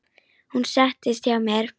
Hún settist hjá mér.